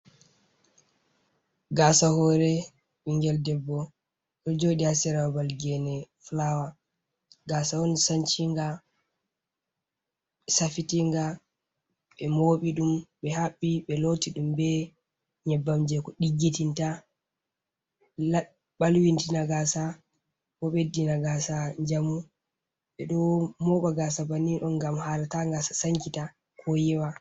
Gaasa hoore, binngel debbo o jooɗi haa sera babal Geene fulaawa, Gaasa on canciinga, safitiinga, ɓe mooɓi ɗum ɓe haɓɓi, ɓe looti ɗum bee nyebbam jey ko ɗiggitinta, ɓalwitina Gaasa, boo ɓeddina Gaasa njamu ɓe ɗo mooɓa Gaasa banni ɗo ngam haala taa Gasa sankita koo yewa,